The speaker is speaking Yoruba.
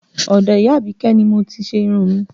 Ọdọ ìyá abike ni mo ti ṣe irun mi